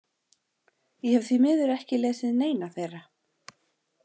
Ég hef því miður ekki lesið neina þeirra.